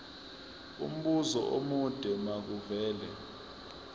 umbuzo omude makuvele